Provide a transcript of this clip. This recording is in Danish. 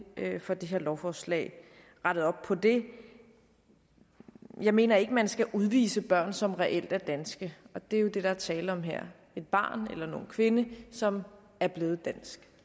får det her lovforslag rettet op på det jeg mener ikke man skal udvise børn som reelt er danske og det er jo det der er tale om her et barn eller en ung kvinde som er blevet dansk